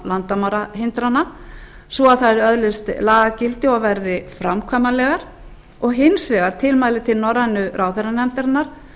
landamærahindrana svo að þær öðlist lagagildi og verði framkvæmanlegar hins vegar tilmæli til norrænu ráðherranefndarinnar